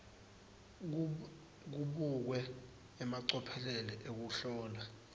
kubukwe emacophelo ekuhlola